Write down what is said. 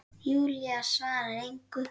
Júlía svarar engu.